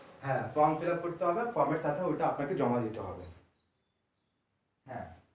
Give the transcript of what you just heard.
হ্যাঁ form fillup করতে হবে আর form এর টাকা ওইটা আপনাকে জমা দিতে হবে হ্যাঁ।